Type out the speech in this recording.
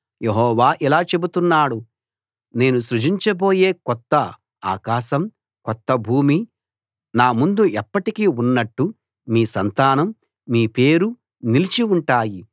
యెహోవా ఇలా చెబుతున్నాడు నేను సృజించబోయే కొత్త ఆకాశం కొత్త భూమి నా ముందు ఎప్పటికీ ఉన్నట్టు మీ సంతానం మీ పేరు నిలిచి ఉంటాయి